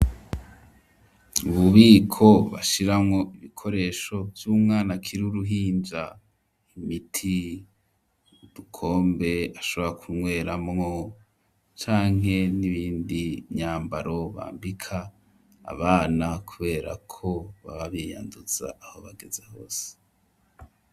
Ububiko bashiramwo ibikoresho vy'umwana akiri uruhinja; imiti, udukombe ashobora kunyweramwo canke n'ibindi, imyambaro bambika abana, kubera ko baba biyanduza aho bageze hose.